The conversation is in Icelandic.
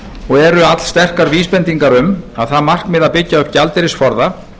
og eru allsterkar vísbendingar um að það markmið að byggja upp gjaldeyrisforða